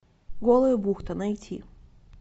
голая бухта найти